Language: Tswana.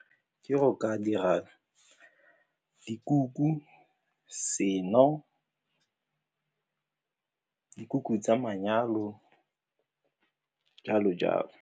Ke go ka dira dikuku, seno, dikuku tsa manyalo, jalo-jalo.